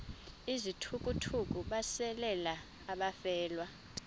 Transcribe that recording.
izithukuthuku besalela abafelwa